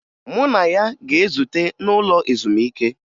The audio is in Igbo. Mụ na ya ga-ezute n'ụlọ ezumike